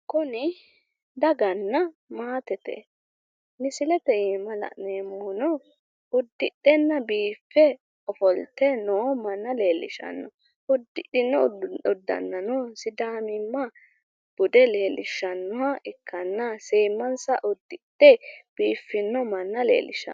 Kuni daganna maatete misilete iimma la'neemohuno udhenna biife ofolte noo manna leelishano udidhino uddannano sidaamimma bude leelishanoha ikkanna seemansa udidhe biifino manna leelishano .